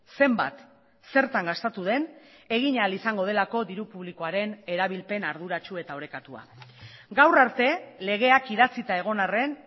zenbat zertan gastatu den egin ahal izango delako diru publikoaren erabilpen arduratsu eta orekatua gaur arte legeak idatzita egon arren